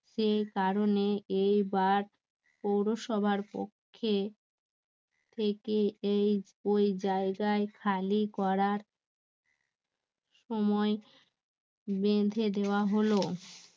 সেই কারণে এই বার পৌরসভার পক্ষে ও ওই জায়গায় খালি করার সময় বেঁধে দেওয়া হল